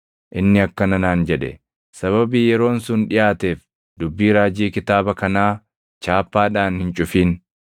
Inni akkana naan jedhe; “Sababii yeroon sun dhiʼaateef dubbii raajii kitaaba kanaa chaappaadhaan hin cufin.